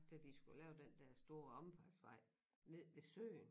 Da de skulle lave den dér store omfartsvej nede ved søen